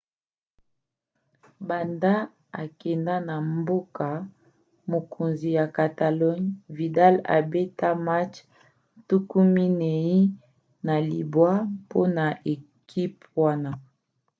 banda akenda na mboka-mokonzi ya catalogne vidal abeta match 49 mpona ekipe wana